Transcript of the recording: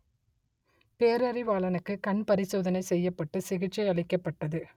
பேரறிவாளனுக்கு கண் பரிசோதனை செய்யப்பட்டு சிகிச்சை அளிக்கப்பட்டது